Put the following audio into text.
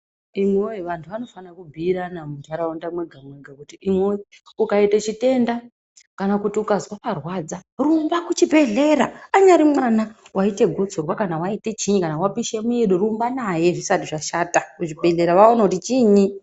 Imwi woye vantu vanofanira kubhuirana mundaraunda mwega mwega kuti imwiwoye ukaite chitenda kana kuti ukazwa parwadza, rumba kuchibhedhlera, anyari mwana waite gotsorwa kana waite chinyi kana wapishe mwiri, rumba naye zvisati zvashata kuchibhedhlera kuti vaone kuti chinyi.